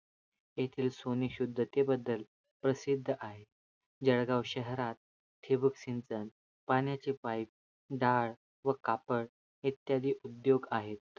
येथील सोने शुध्दते बद्दल प्रसिद्ध आहे जळगाव शहरात ठिबकसिंचन, पाण्याचे पाईप दाळ व कापड, इत्यादी उद्योग आहे